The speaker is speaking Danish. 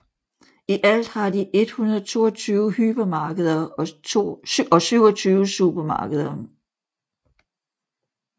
I alt har de 122 hypermarkeder og 27 supermarkeder